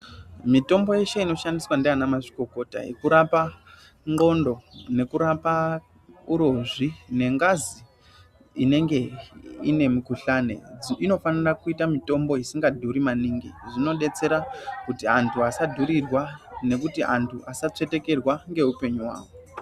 Mitombo yeshe inoshandiswa ndiana mazvikokota inorapa ngondo nekurapa murozvi nengazi inenge ine mukuhlani inofanirwe kuita mutombo isinga dhuri maningi , zvinobetsere antu asadhurirwa nekuti antu asatsvetekerwa ngeupenyu hwawo.